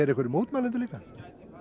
hér mótmælendur líka